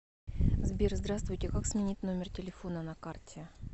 сбер здравствуйте как сменить номер телефона на карте